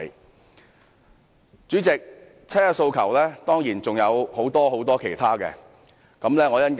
代理主席，七一遊行當然還有很多其他訴求。